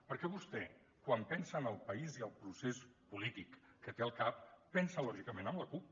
perquè vostè quan pensa en el país i el procés polític que té al cap pensa lògicament en la cup